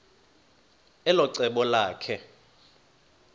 elo cebo lakhe